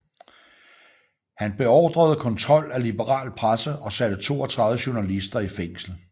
Han beordrede kontrol af liberal presse og satte 32 journalister i fængsel